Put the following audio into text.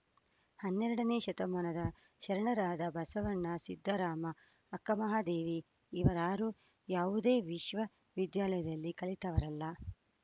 ಹನ್ನೆರಡನೇ ಶತಮಾನದ ಶರಣರಾದ ಬಸವಣ್ಣ ಸಿದ್ದರಾಮ ಅಕ್ಕಮಹಾದೇವಿ ಇವರಾರು ಯಾವುದೇ ವಿಶ್ವ ವಿದ್ಯಾಲಯದಲ್ಲಿ ಕಲಿತವರಲ್ಲ